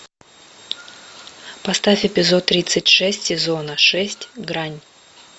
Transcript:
поставь эпизод тридцать шесть сезона шесть грань